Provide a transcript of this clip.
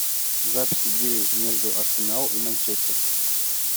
запись игры между арсенал и манчестер